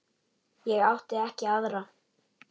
Ég átti ekki aðra.